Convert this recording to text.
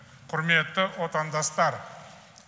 құрметті отандастар